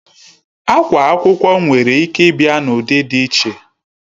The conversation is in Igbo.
Akwa akwụkwọ nwere Ike Ibia na ụdị dị iche